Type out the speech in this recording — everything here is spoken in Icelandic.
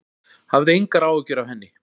Hafðu engar áhyggjur af henni.